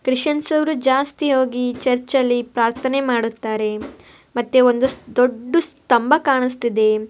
ಕ್ರಿಸ್ಚಿಯನ್ಸ್ರ ವರು ಜಾಸ್ತಿ ಹೊಗಿ ಚರ್ಚ ಲ್ಲಿ ಪ್ರಾರ್ಥನೆ ಮಾಡುತ್ತಾರೆ ಮತ್ತೆ ಒಂದು ದೊಡ್ಡ ಸ್ಥಂಭ ಕಾಣಿಸ್ತಿದೆ .